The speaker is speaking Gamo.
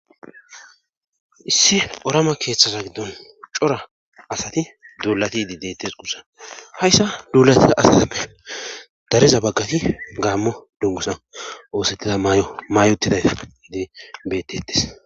Issi orama keeththasa giddon cora asati duulati idi deettes guussa hayssa duulatia astame dareza baggati gaammo dungusa oosettiza maayo maayotiday idi bettetes.